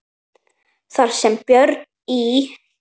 Þar sem Björn í